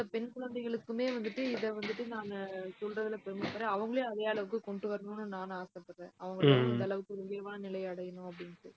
என்னோட பெண் குழந்தைகளுக்குமே வந்துட்டு, இதை வந்துட்டு நாங்க சொல்றதுல பெருமைப்படறேன். அவங்களையும் அதே அளவுக்கு கொண்டு வரணும்ன்னு நானும் ஆசைப்படறேன். அவங்க அந்த அளவுக்கு உயர்வான நிலையை அடையணும் அப்படின்னுட்டு